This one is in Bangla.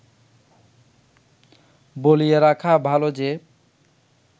বলিয়া রাখা ভাল যে